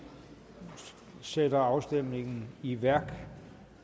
sætter afstemningen i værk